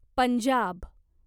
Punjab